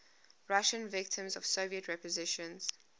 russian victims of soviet repressions